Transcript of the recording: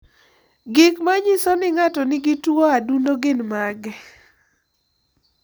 Gik manyiso ni ng'ato nigi tuwo adundo gin mage?